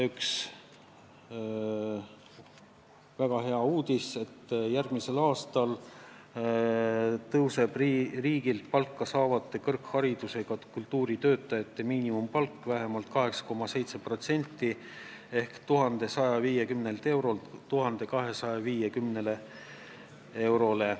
Üks väga hea uudis on see, et järgmisel aastal tõuseb riigilt palka saavate kõrgharidusega kultuuritöötajate miinimumpalk vähemalt 8,7% ehk 1150 eurolt 1250 eurole.